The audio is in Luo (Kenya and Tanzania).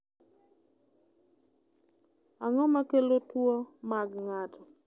Ang’o ma kelo tuwo mag ng’ato?